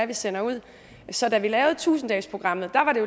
vi sender ud så da vi lavede tusind dagesprogrammet var det